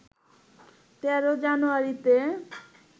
১৩ জানুয়ারিতে